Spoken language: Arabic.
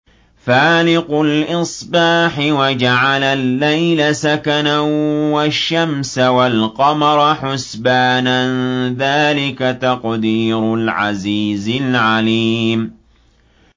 فَالِقُ الْإِصْبَاحِ وَجَعَلَ اللَّيْلَ سَكَنًا وَالشَّمْسَ وَالْقَمَرَ حُسْبَانًا ۚ ذَٰلِكَ تَقْدِيرُ الْعَزِيزِ الْعَلِيمِ